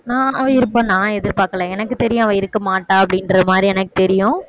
நான் அவ இருப்பா நான் எதிர்பார்க்கல எனக்கு தெரியும் அவ இருக்க மாட்டா அப்படின்ற மாதிரி எனக்கு தெரியும்